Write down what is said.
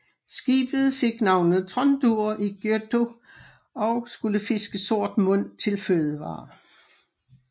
Skibet fik navnet Tróndur í Gøtu og skulle fiske sortmund til fødevarer